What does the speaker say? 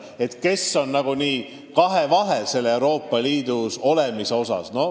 Inimesed on ju kahevahel, kui mõtlevad Euroopa Liidus olemisele.